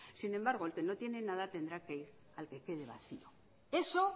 sin embargo el que no tiene nada tendrá que ir al que quede vacío eso